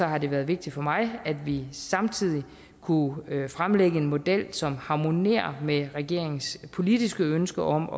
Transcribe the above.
har det været vigtigt for mig at vi samtidig kunne fremlægge en model som harmonerer med regeringens politiske ønsker om